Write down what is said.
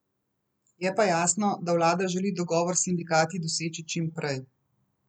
Je pa jasno, da vlada želi dogovor s sindikati doseči čim prej.